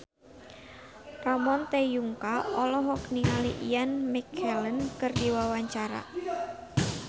Ramon T. Yungka olohok ningali Ian McKellen keur diwawancara